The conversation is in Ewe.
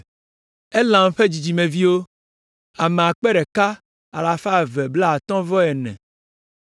Elam ƒe dzidzimeviwo, ame akpe ɖeka alafa eve blaatɔ̃-vɔ-ene (1,254).